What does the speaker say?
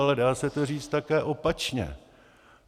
Ale dá se to říct také opačně.